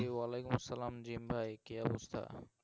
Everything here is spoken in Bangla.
ওয়া আলাইকুম আসসালাম জীম ভাই কি অবস্থা